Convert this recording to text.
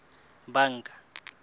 banka